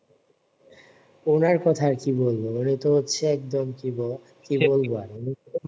ওনার কথা আর কি বলব উনি তো হচ্ছে একদম কি বলবো আর